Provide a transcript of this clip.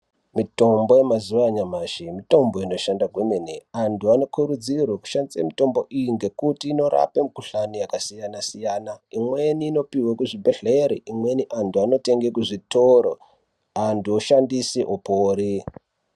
Mitombo yemazuva anyamashi mitombo inoshanda kwemene antu anokurudzirwa yekushandise mitombo iyi ngekuti inorapa mikohlani yakasiyana siyana imweni inopirwe kuzvibhehleya imweni antu anotenge kuzvitoro antu oshandise opore.